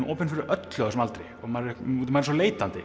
opinn fyrir öllu á þessum aldri maður er svo leitandi